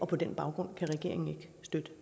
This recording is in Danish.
på den baggrund kan regeringen ikke støtte